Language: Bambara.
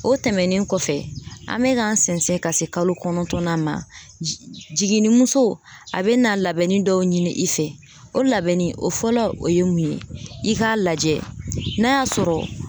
O tɛmɛnen kɔfɛ, an bɛ k'an sɛnsɛn ka se kalo kɔnɔntɔn na ma , jiginnimuso a bɛ na labɛnni dɔw ɲini i fɛ o labɛnni o fɔlɔ o ye mun ye i k'a lajɛ n'a y'a sɔrɔ